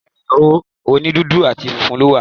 Ẹ̀rọ òní dúdú àti funfun ló wà